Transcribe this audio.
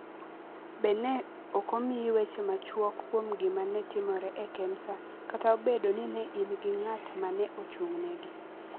Be ne ok omiyi weche machuok kuom gima ne timore e Kemsa kata obedo ni ne in gi ng’at ma ne ochung’negi,